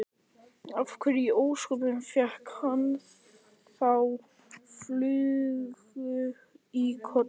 Af hverju í ósköpunum fékk hann þá flugu í kollinn?